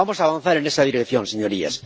Vamos a avanzar en esa dirección, señorías.